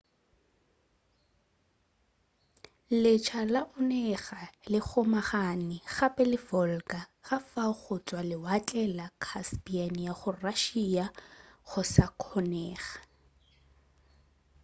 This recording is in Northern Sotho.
letsha la onega le kgomagane gape le volga ka fao go tšwa lewatle la caspian go ya russia go sa kgonega